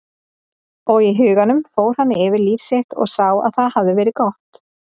Og í huganum fór hann yfir líf sitt og sá að það hafði verið gott.